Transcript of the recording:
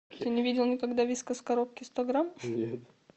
ты не видел никогда вискас в коробке сто грамм